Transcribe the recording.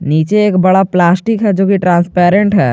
नीचे एक बड़ा प्लास्टिक है जो कि ट्रांसपेरेंट है।